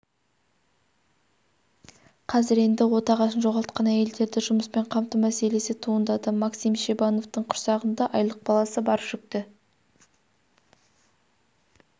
қазір енді отағасын жоғалтқан әйелдерді жұмыспен қамту мәселесі туындады максим шебановтың құрсағында айлық баласы бар жүкті